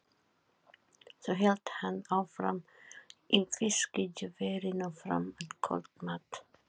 Svo hélt hann áfram í Fiskiðjuverinu fram að kvöldmat.